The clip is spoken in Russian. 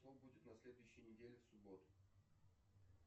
что будет на следующей неделе в субботу